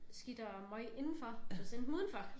Skidt og møg indenfor så send dem udenfor